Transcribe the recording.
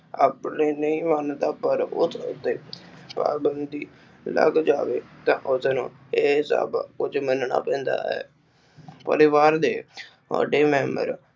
ਆਪਣੇ ਨਹੀਂ ਮਾਨਤਾ ਪਰ ਉਸਤੇ ਪਾਬੰਧੀ ਲੱਗ ਜਾਵੇ ਤਾ ਉਸਨੂੰ ਇਹ ਸਭ ਕੁਝ ਮੰਨਣਾ ਪੈਂਦਾ ਹੈ ਪਰਿਵਾਰ ਦੇ ਵੱਡੇ ਮੈਂਬਰ